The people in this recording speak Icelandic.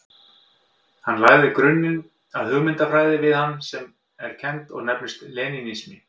Hann lagði grunninn að hugmyndafræði sem við hann er kennd og nefnist lenínismi.